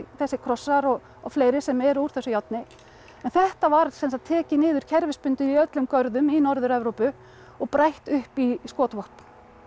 þessir krossar og fleiri sem eru úr þessu járni en þetta var tekið niður kerfisbundið í öllum görðum í Norður Evrópu og brætt upp í skotvopn